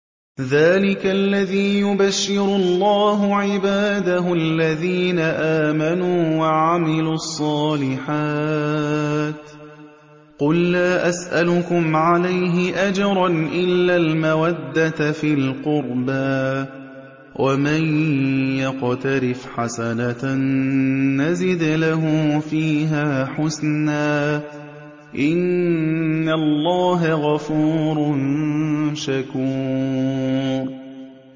ذَٰلِكَ الَّذِي يُبَشِّرُ اللَّهُ عِبَادَهُ الَّذِينَ آمَنُوا وَعَمِلُوا الصَّالِحَاتِ ۗ قُل لَّا أَسْأَلُكُمْ عَلَيْهِ أَجْرًا إِلَّا الْمَوَدَّةَ فِي الْقُرْبَىٰ ۗ وَمَن يَقْتَرِفْ حَسَنَةً نَّزِدْ لَهُ فِيهَا حُسْنًا ۚ إِنَّ اللَّهَ غَفُورٌ شَكُورٌ